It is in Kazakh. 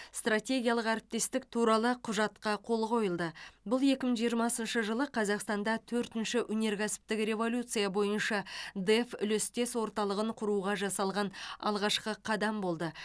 стратегиялық әріптестік туралы құжатқа қол қойылды бұл екі мың жиырмасыншы жылы қазақстанда төртінші өнеркәсіптік революция бойынша дэф үлестес орталығын құруға жасалған алғашқы қадам болды